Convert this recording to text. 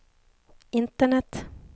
internet